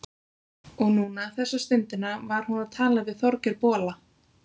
Og núna, þessa stundina, var hún að tala við Þorgeir bola.